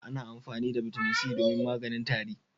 Ana amfani da Bitamin C domin maganin tari.